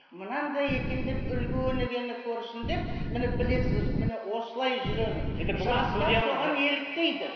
мынандай екен деп үлгі өнегені көрсін деп міне білесіз міне осылай жүремін жастар соған еліктейді